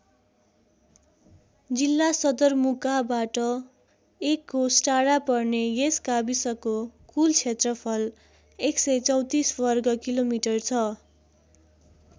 जिल्ला सदरमुकाबाट १ कोस टाढा पर्ने यस गाविसको कुल क्षेत्रफल १३४ वर्ग किलोमिटर छ।